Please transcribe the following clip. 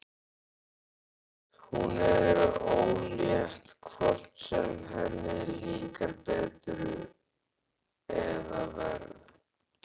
Hún er ólétt hvort sem henni líkar betur eða verr.